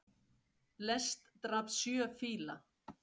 Lest drap sjö fíla